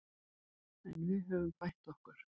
En við höfum bætt okkur